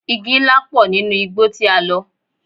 Igi ńlá pọ̀ nínú igbó tí a lọ.